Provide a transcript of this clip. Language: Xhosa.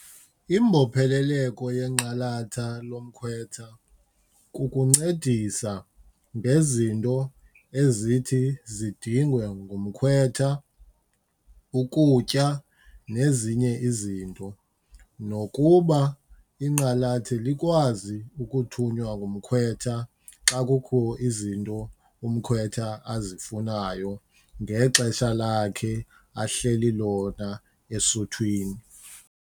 Imbopheleleko yenqalatha lomkhwetha kukuncedisa ngezinto ezithi zidingwe ngumkhwetha, ukutya nezinye izinto, nokuba inqalathi likwazi ukuthunywa ngumkhwetha xa kukho izinto umkhwetha azifunayo ngexesha lakhe ahleli lona esuthwini.